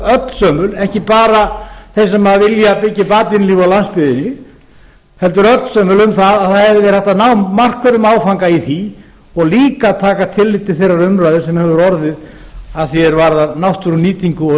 öllsömul ekki bara þeir sem vilja byggja upp atvinnulíf á landsbyggðinni heldur öllsömul um að það hefði verið hægt að ná markverðum áfanga í því og líka að taka tillit til þeirrar umræðu sem hefur orðið varðandi náttúrunýtingu og